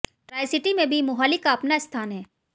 Tricity में भी मोहाली का अपना स्थान है